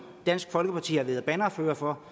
dansk folkeparti har været bannerfører for